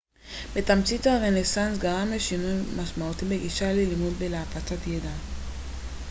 בתמצית הרנסנס גרם לשינוי משמעותי בגישה ללימוד ולהפצת ידע